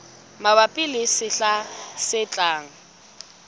mabapi le sehla se tlang